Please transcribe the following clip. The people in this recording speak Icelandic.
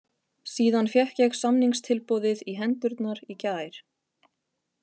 Síðan fékk ég samningstilboðið í hendurnar í gær.